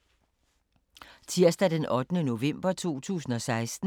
Tirsdag d. 8. november 2016